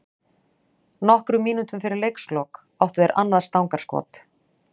Nokkrum mínútum fyrir leikslok áttu þeir annað stangarskot.